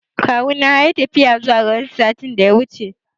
Akawuna yayi tafiya zuwa garinsu satin da ya wuce.